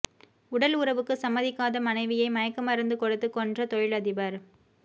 உடல் உறவுக்கு சம்மதிக்காத மனைவியை மயக்க மருந்து கொடுத்து கொன்ற தொழிலதிபர்